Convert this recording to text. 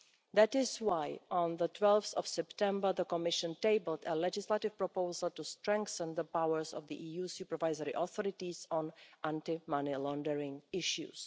That is why, on 12 September, the Commission tabled a legislative proposal to strengthen the powers of the EU supervisory authorities in anti-money laundering issues.